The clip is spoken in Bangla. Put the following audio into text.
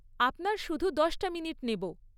আপনার শুধু দশটা মিনিট নেব।